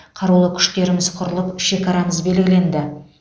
қарулы күштеріміз құрылып шекарамыз белгіленді